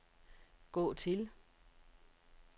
gå til